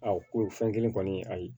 A ko fɛn kelen kɔni ayi